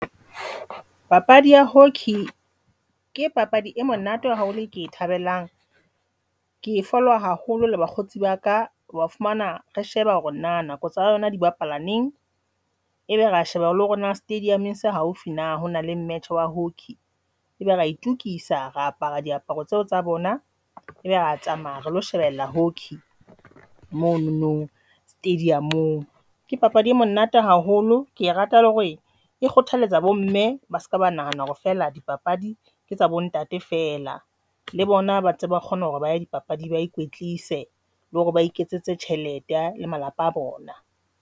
Papadi ya hockey ke papadi e monate haholo e ke e thabelang ke e follower haholo le bakgotsi ba ka wa fumana re sheba hore na nako tsa yona di bapala neng, ebe re a sheba hore le hore na stadium-ng se haufi na hona le match wa hockey ebe re itokisa, re apara diaparo tseo tsa bona, ebe re tsamaya relo shebella hockey monono stadium-ng. Ke papadi e monate haholo, ke rata hore e kgothalletsa bo mme ba se ka ba nahana hore feela dipapadi tsa bontate fela le bona bantse ba kgona hore ba ye dipapading, ba ikwetlise le hore ba iketsetsa tjhelete le malapa a bona.